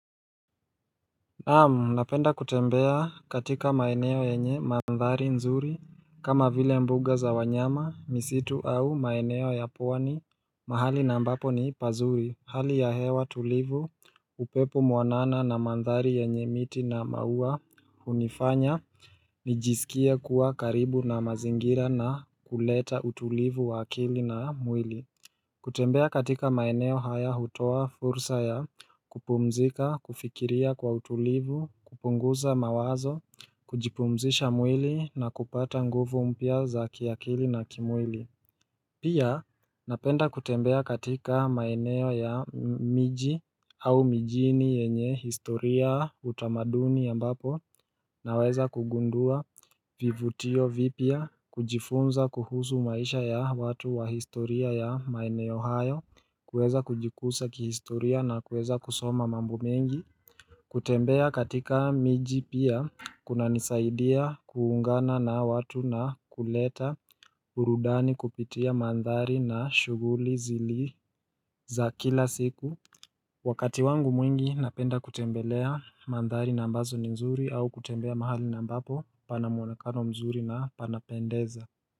Naamu napenda kutembea katika maeneo yenye mandhari nzuri kama vile mbuga za wanyama misitu au maeneo ya pwani mahali na ambapo ni pazuri hali ya hewa tulivu upepo mwanana na mandhari yenye miti na maua hunifanya nijisikie kuwa karibu na mazingira na kuleta utulivu wa akili na mwili kutembea katika maeneo haya hutoa fursa ya kupumzika, kufikiria kwa utulivu, kupunguza mawazo, kujipumzisha mwili na kupata nguvu mpya za kiakili na kimwili Pia napenda kutembea katika maeneo ya miji au mijini yenye historia utamaduni ambapo naweza kugundua vivutio vipya kujifunza kuhusu maisha ya watu wa historia ya maeneo hayo kuweza kujikusa kihistoria na kuweza kusoma mambo mengi kutembea katika miji pia kunanisaidia kuungana na watu na kuleta burudani kupitia mandhari na shuguli zili za kila siku Wakati wangu mwingi napenda kutembelea mandhari na ambazo ni nzuri au kutembea mahali na ambapo pana mwonekano mzuri na panapendeza.